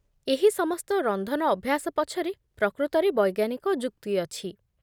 ଏହି ସମସ୍ତ ରନ୍ଧନ ଅଭ୍ୟାସ ପଛରେ ପ୍ରକୃତରେ ବୈଜ୍ଞାନିକ ଯୁକ୍ତି ଅଛି।